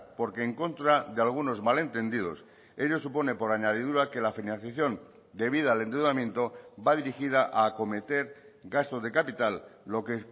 porque en contra de algunos malentendidos ello supone por añadidura que la financiación debida al endeudamiento va dirigida a acometer gastos de capital lo que